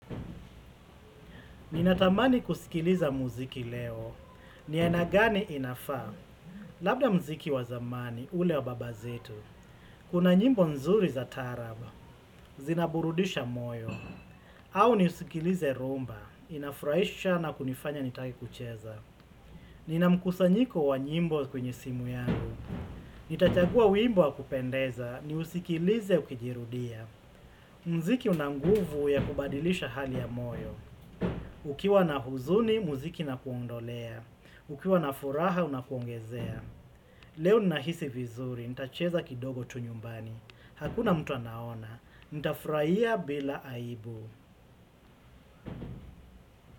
Ninatamani kusikiliza muziki leo. Ni aina gani inafaa. Labda muziki wa zamani, ule wa baba zetu. Kuna nyimbo nzuri za taarab. Zinaburudisha moyo. Au niusikilize rhumba. Inafurahisha na kunifanya nitake kucheza. Nina mkusanyiko wa nyimbo kwenye simu yangu. Nitachagua wimbo wa kupendeza. Niusikilize ukijirudia. Muziki una nguvu ya kubadilisha hali ya moyo. Ukiwa na huzuni, muziki inakuondolea. Ukiwa na furaha, unakuongezea. Leo ninahisi vizuri, nitacheza kidogo tu nyumbani. Hakuna mtu anaona, nitafurahia bila aibu.